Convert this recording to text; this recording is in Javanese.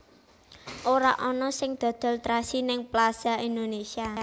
Ora ono sing dodol trasi ning Plaza Indonesia